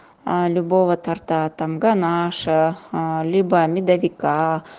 любого торта там ганаша либо медовика